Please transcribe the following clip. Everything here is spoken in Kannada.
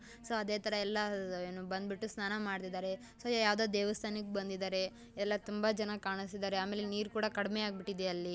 ಸೊ ಅದೇ ತರ ಎಲ್ಲ ಏನು ಬಂದ್ಬಿಟ್ಟು ಸ್ನಾನ ಮಾಡ್ತಿದಾರೆ ಸೊ ಯಾವ್ದೋ ದೇವಸ್ಥಾನಕ್ ಬಂದಿದಾರೆ ಎಲ್ಲ ತುಂಬ ಜನ ಕಾಣಿಸ್ತಿದಾರೆ ಆಮೇಲೆ ನೀರ್ ಕೂಡ ಕಡಿಮೆ ಆಗ್ಬಿಟ್ಟಿದೆ ಅಲ್ಲಿ --